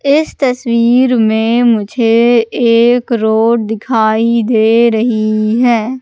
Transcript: इस तस्वीर में मुझे एक रोड दिखाई दे रहीं हैं।